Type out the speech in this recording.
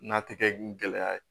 N'a tɛgɛ gɛlɛya ye